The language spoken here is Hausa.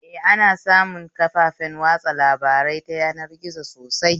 Eh, ana samun kafafen watsa labarai ta yanar gizo sosai